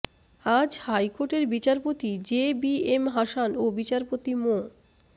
আজ হাইকোর্টের বিচারপতি জে বি এম হাসান ও বিচারপতি মো